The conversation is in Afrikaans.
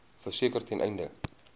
verseker ten einde